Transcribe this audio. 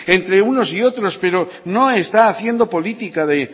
entre unos y otros pero no está haciendo política de